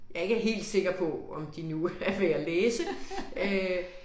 Jeg ikke er helt sikker på om de nu er værd at læse øh